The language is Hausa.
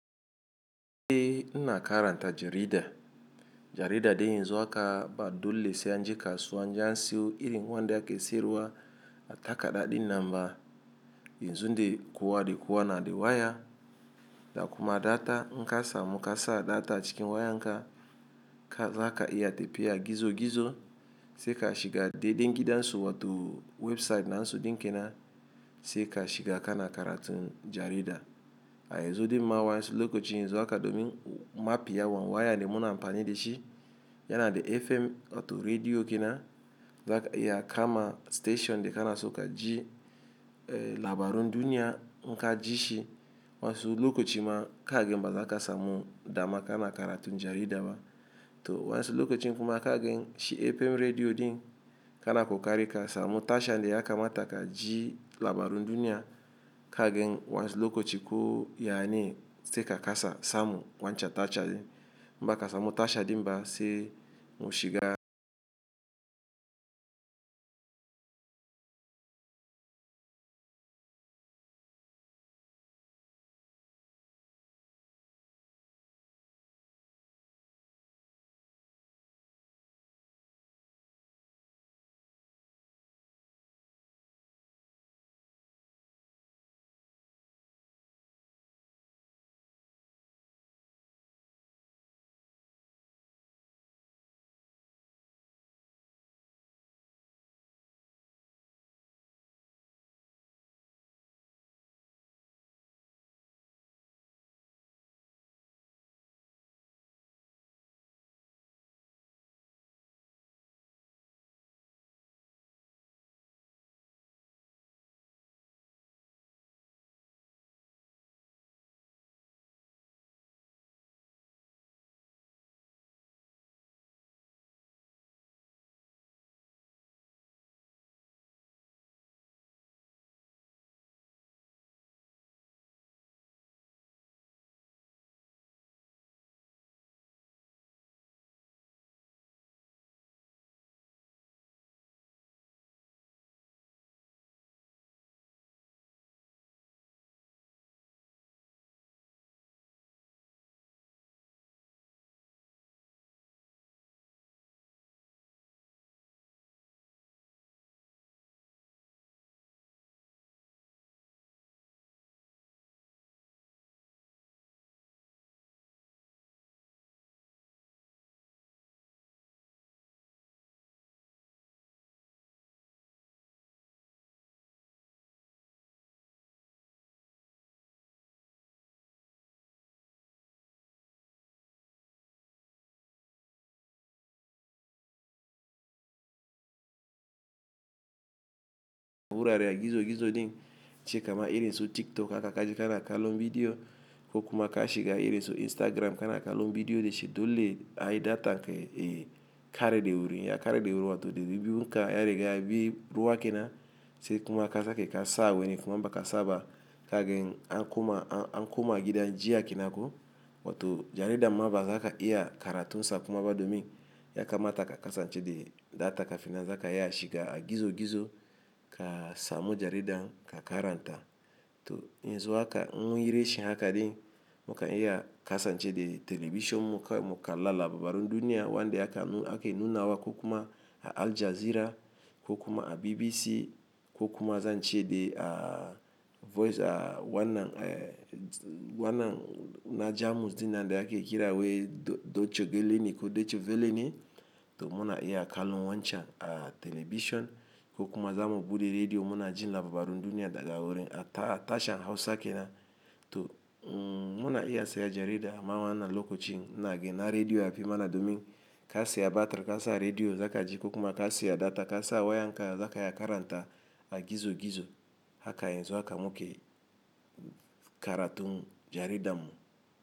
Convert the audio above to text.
Eh ina karanta jarida, jarida de yanzu haka ba dole sai an je kasuwa an je siyo irin wanda aka siyarwa a takarda din namba yanzu de kuwa de kuwa na di waya, da kuma data in kasa mu kasa data cikin wayan za ka iya tafiya gizo gizo sai ka shiga daidai gidansu wato website nansu din kenan sai ka shiga kana karatun jarida. A yanzu din ma wa su lokacin yanzu haka domin mafiyawan waya de muna amfani da shi yana da FM wato rediyo kenan za ka iya kama station de kana so ka ji, eh labarun duniya an ka ji shi. Wasu lokacin ma kagen ba za ka samu dama kana karatun jarida ba. To wansu lokacin kuma kagen shi FM rediyo din kana kokari ka samu tashan de ya kama taka ji labarun duniya kagen wansu lokacin ko yae sai ka kasa samu wancan tashan. In baka samu tashan din ba sai mu shiga wurare gizo gizo din ci kama irin so TikTok haka ka je kana kallon bidiyo ko kuma ka shiga irin so Instagram kana kallon bidiyo da shi dole ayi data ke kare de wuri. Ya kare de wuri wato dari biyun ka ya riga ya bi ruwa kenan sai kuma ka sake kasa weni kuma bakasa ba kagen an kuma an kuma gidan jiya kenako wato jarida ma ba za ka iya karatun sa kuma ba domin ya kamata ka kasance da data kafin nan za ka iya shiga gizo gizo ka samu jaridan ka karanta. To yanzu haka mun yi reshe haka din muka iya kasance da telebijin muka muka lalla labarun duniya wanda aka ake nuna wa ko kuma a Al Jazeera ko kuma a BBC ko kuma zan ce da a Voice a wannan a wannan na Jamus din nan de ake kira wai Deutsche Welle ko Deutsche Welle to muna iya kallon wancan a telebijin ko kuma zamu buɗe rediyo muna jin labarun duniya daga wurin a ta tashar Hausa kenan. To muna iya saya jarida ma wanan lokacin na gina rediyo ya fi mana domin ka saya batir ka sa rediyo za ka ji ko kuma ka siya data ka sa waya haka za ka iya karanta a gizo gizo haka yanzu haka muke karatun jaridan mu.